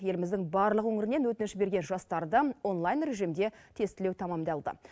еліміздің барлық өңірінен өтініш берген жастарды онлайн режимде тестілеу тәмамдалды